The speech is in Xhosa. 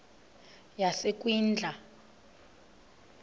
yasekwindla